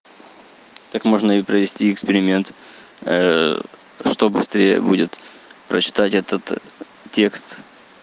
так можно и провести эксперимент чтобы будет прочитать этот текст